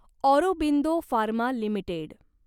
Aurobindo pharma limited